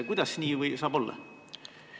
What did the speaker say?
Kuidas nii saab olla?